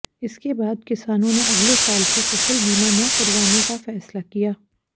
इसके बाद किसानों ने अगले साल से फसल बीमा न करवाने का फैसला किया